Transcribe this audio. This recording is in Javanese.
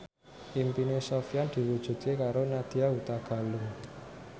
impine Sofyan diwujudke karo Nadya Hutagalung